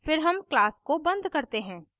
फिर हम class को बंद करते हैं